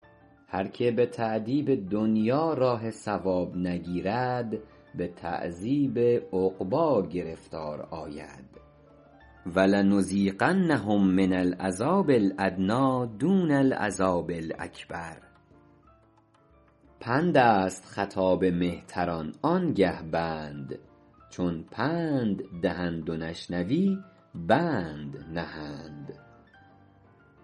هر که به تأدیب دنیا راه صواب نگیرد به تعذیب عقبی گرفتار آید ولنذیقنهم من العذاب الأدنی دون العذاب الأکبر پند است خطاب مهتران آن گه بند چون پند دهند و نشنوی بند نهند